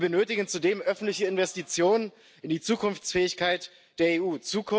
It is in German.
Wir benötigen zudem öffentliche Investitionen in die Zukunftsfähigkeit der EU.